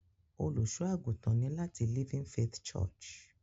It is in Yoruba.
Olusoagutan ni lati "Living faith church"